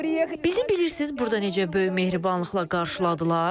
Bizi bilirsiz burda necə böyük mehribanlıqla qarşıladılar.